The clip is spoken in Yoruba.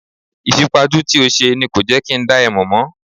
Ìfipajú tí o ṣe ni kò jẹ́ kí n dá ẹ mò mọ́.